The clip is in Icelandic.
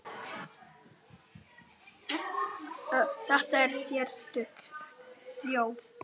Þetta er sérstök þjóð.